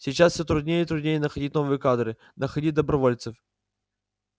сейчас все труднее и труднее находить новые кадры находить добровольцев